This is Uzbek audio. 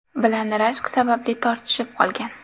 bilan rashk sababli tortishib qolgan.